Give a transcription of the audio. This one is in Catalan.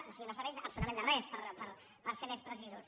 o sigui no serveix absolutament de res per ser més precisos